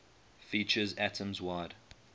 features atoms wide